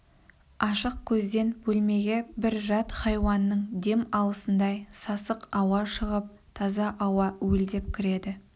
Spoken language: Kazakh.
ашық көзден бөлмеге бір жат хайуанның дем алысындай сасық ауа шығып таза ауа уілдеп кіреді